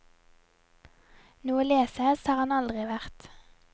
Noe lesehest har han aldri vært.